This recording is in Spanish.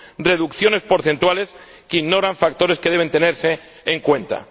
reducciones porcentuales que ignoran factores que deben tenerse en cuenta.